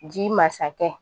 Ji masakɛ